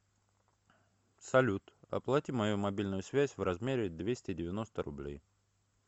салют оплати мою мобильную связь в размере двести девяносто рублей